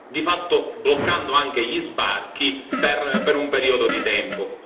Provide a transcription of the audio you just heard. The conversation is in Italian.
di fatto bloccando anche gli sbarchi per un periodo di tempo.